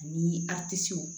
Ani a tisow